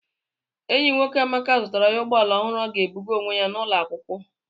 Enyi nwoke Amaka zụtara ya ụgbọ ala ọhụrụ ọ ga-ebuga onwe ya n'ụlọ akwụkwọ.